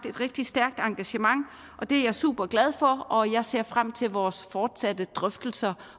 et rigtig stærkt engagement det er jeg superglad for og jeg ser frem til vores fortsatte drøftelser